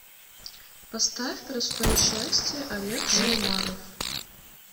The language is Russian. поставь простое счастье олег шаумаров